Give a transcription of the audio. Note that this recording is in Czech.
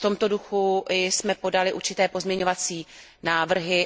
V tomto duchu jsme podali určité pozměňovací návrhy.